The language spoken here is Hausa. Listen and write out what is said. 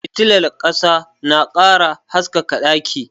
Fitilar ƙasa na ƙara haskaka ɗaki